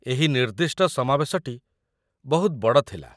ଏହି ନିର୍ଦ୍ଦିଷ୍ଟ ସମାବେଶଟି ବହୁତ ବଡ଼ ଥିଲା।